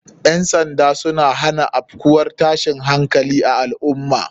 Ƴan sanda suna hana afkuwar tashin hankali a lal ummah